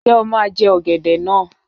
Ǹjẹ́ o máa jẹ ọ̀gẹ̀dẹ̀ náà?